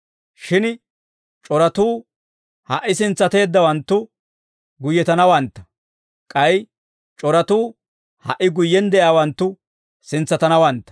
Shin c'oratuu ha"i sintsateeddawanttu guyyetanawantta; k'ay c'oratuu ha"i guyyen de'iyaawanttu sintsatanawantta.